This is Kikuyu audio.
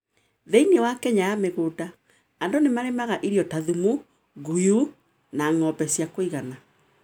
Thĩinĩ wa Kenya ya mĩgũnda, andũ nĩmarĩmaga irio ta thumu, ngũyũ, na ng'ombe cia kũigana.